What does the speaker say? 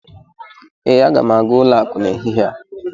ee, Aga m aga ụlọ akụ n'ehihie a